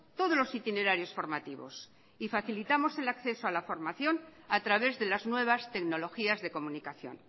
todos los itinerarios formativos y facilitamos el acceso a la formación a través de las nuevas tecnologías de comunicación